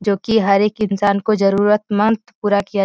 जो की हर एक इंसान को जरूरतमंद पूरा किया --